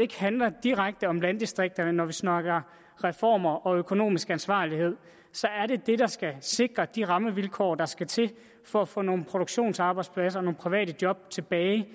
ikke handler direkte om landdistrikter når vi snakker reformer og økonomisk ansvarlighed så er det det der skal sikre de rammevilkår der skal til for at få nogle produktionsarbejdspladser nogle private job tilbage